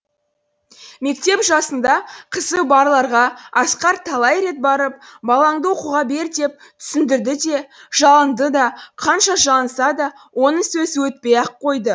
мектеп жасында қызы барларға асқар талай рет барып балаңды оқуға бер деп түсіндірді де жалынды да қанша жалынса да оның сөзі өтпей ақ қойды